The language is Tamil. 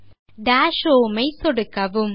பின்னர் டாஷ் home ன் மீது சொடுக்கவும்